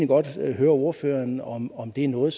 godt høre ordføreren om om det er noget